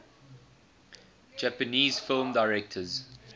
japanese film directors